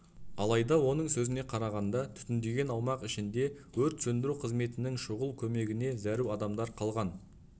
алайда оның сөзіне қарағанда түтінденген аумақ ішінде өрт сөндіру қызметінің шұғыл көмегіне зәру адамдар қалған